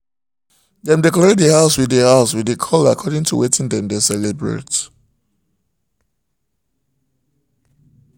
dem decorate the house with the house with the color according to watin dem dey celebrate